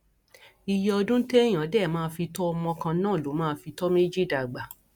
iye ọdún téèyàn dé máa fi tọ ọmọ kan náà ló máa fi tó méjì dàgbà